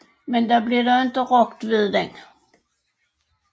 Men der blev dog ikke rokket ved den